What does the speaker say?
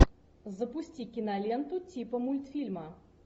запусти киноленту типа мультфильма